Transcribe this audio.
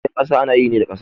Gidan ƙasa ana yi ne da ƙasa